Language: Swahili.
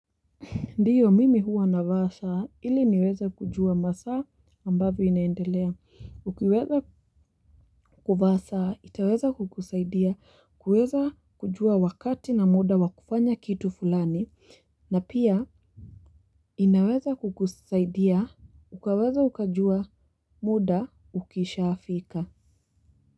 Ndiyo mimi huwa nava saa, ili niweze kujua masaa ambavyo inaendelea. Ukiweza kuvaa saa, itaweza kukusaidia, kuweza kujua wakati na muda wakufanya kitu fulani, na pia inaweza kukusaidia, ukawaza ukajua muda ukishafika.